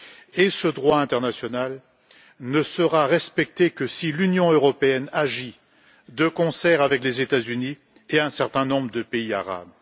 Et ce droit international ne sera respecté que si l'Union européenne agit de concert avec les États Unis et un certain nombre de pays arabes.